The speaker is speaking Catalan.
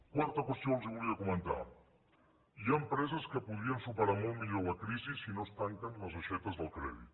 quarta qüestió que els volia comentar hi ha empreses que podrien superar molt millor la crisi si no es tanquen les aixetes del crèdit